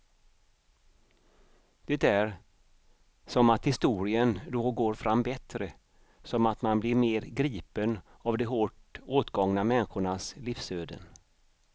Det är som att historien då går fram bättre, som att man blir mer gripen av de hårt åtgångna människornas livsöden.